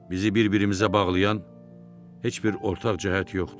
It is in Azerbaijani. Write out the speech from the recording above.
Bizi bir-birimizə bağlayan heç bir ortaq cəhət yoxdur.